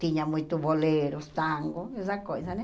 Tinha muito bolero, tango, essa coisa, né?